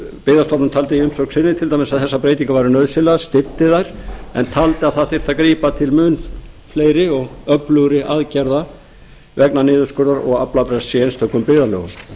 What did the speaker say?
byggðastofnun taldi í umsögn sinni til dæmis að þessar breytingar væru nauðsynlegar styddi þær en taldi að grípa þyrfti til fleiri og mun öflugri aðgerða vegna niðurskurðar og aflabrests í einstökum byggðarlögum